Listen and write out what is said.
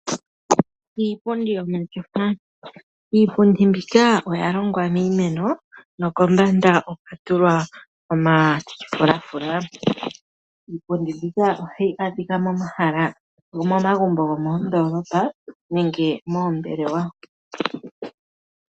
Iipundi yomatyofa. Iipundi mbyoka oya hongwa miimeno, nokombanda okwa tulwa omafulafula. Iipundi mbyoka ohayi adhika momahala go momagumbo go moondoolopa, nenge moombelewa.